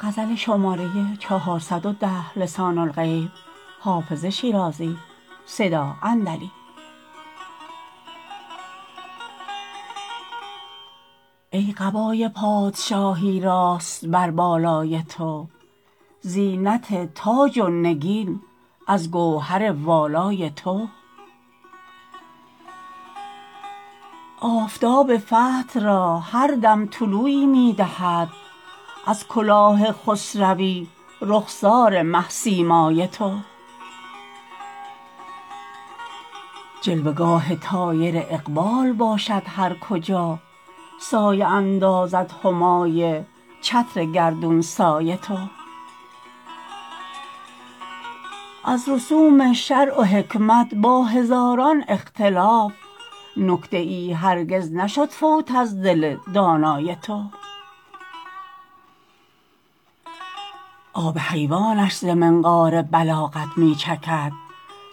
ای قبای پادشاهی راست بر بالای تو زینت تاج و نگین از گوهر والای تو آفتاب فتح را هر دم طلوعی می دهد از کلاه خسروی رخسار مه سیمای تو جلوه گاه طایر اقبال باشد هر کجا سایه اندازد همای چتر گردون سای تو از رسوم شرع و حکمت با هزاران اختلاف نکته ای هرگز نشد فوت از دل دانای تو آب حیوانش ز منقار بلاغت می چکد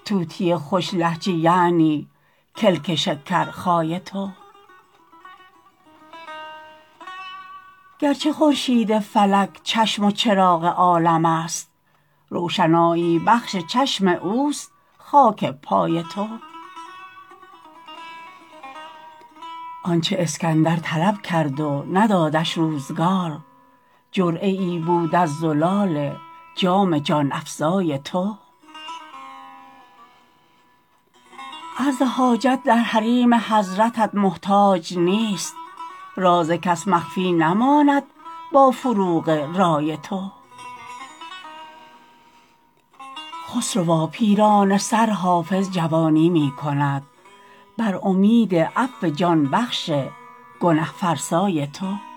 طوطی خوش لهجه یعنی کلک شکرخای تو گرچه خورشید فلک چشم و چراغ عالم است روشنایی بخش چشم اوست خاک پای تو آن چه اسکندر طلب کرد و ندادش روزگار جرعه ای بود از زلال جام جان افزای تو عرض حاجت در حریم حضرتت محتاج نیست راز کس مخفی نماند با فروغ رای تو خسروا پیرانه سر حافظ جوانی می کند بر امید عفو جان بخش گنه فرسای تو